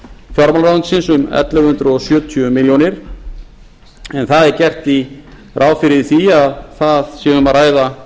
fjárheimild til fjármálaráðuneytisins um ellefu hundruð sjötíu milljónum króna en þar er gert ráð fyrir því að þar sé um að ræða